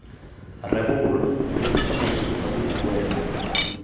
rebolwa mme ditsamaiso tsa boikuelo